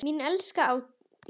Mín elskaða Ásdís.